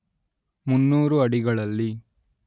ಮುನ್ನೂರು ಅಡಿಗಳಲ್ಲಿ